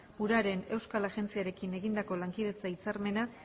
uraren euskal agentziarekin egindako lankidetza hitzarmena